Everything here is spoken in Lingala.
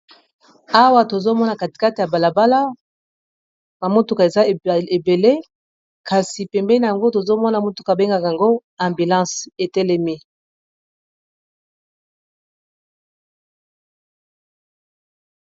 Awa tozomona katikate ya balabala na motuka eza ebele, kasi pembeni yango tozomona motuka abengaka yango ambulance etelemi.